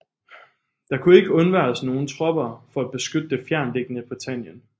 Der kunne ikke undværes nogen tropper for at beskytte det fjerntliggende Britannien